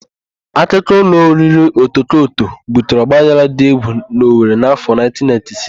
Akụkọ ụlọ oriri Otokoto butere ọgbaghara dị égwù n'Owere n'afọ 1996.